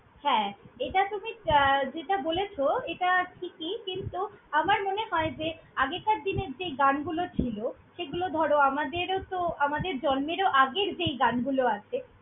হ্যাঁ, এটা তুমি আহ যেটা বলেছ, এটা ঠিকই কিন্তু আমার মনে হয় যে, আগেকার দিনে যে গানগুলো ছিল সেগুলো ধরো আমাদেরও তো আমাদের জন্মেরও আগের যেই গানগুলো আছে।